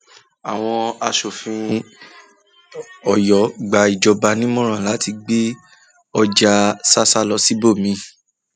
àwọn aṣòfin ọyọ gba ìjọba nímọràn láti gbé láti gbé ọjà ṣàṣà lọ síbòmí